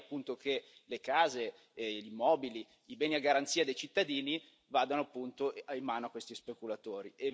Non vorrei appunto che le case, gli immobili, i beni a garanzia dei cittadini vadano, appunto, in mano a questi speculatori.